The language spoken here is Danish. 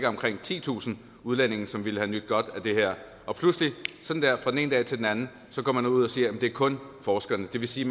omkring titusind udlændinge som ville have nydt godt af det her og pludselig fra den ene dag til den anden går man ud og siger at det kun er forskerne det vil sige